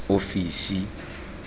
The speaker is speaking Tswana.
ofisi